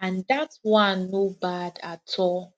and that one no bad at all